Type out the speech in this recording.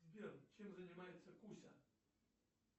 сбер чем занимается куся